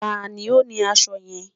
tani o ni aṣọ yẹn?